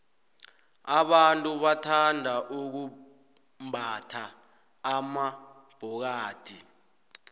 abantu bathanda ukumbatha amabhokathi